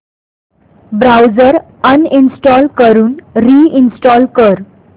browser uninstall करून reinstall कर